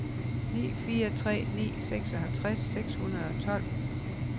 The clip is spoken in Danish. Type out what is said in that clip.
ni fire tre ni seksoghalvtreds seks hundrede og tolv